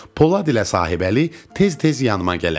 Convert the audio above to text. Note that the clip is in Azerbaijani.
Polad ilə sahibəli tez-tez yanıma gələrdilər.